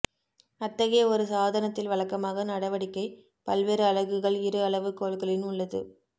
அத்தகைய ஒரு சாதனத்தில் வழக்கமாக நடவடிக்கை பல்வேறு அலகுகள் இரு அளவு கோல்களின் உள்ளது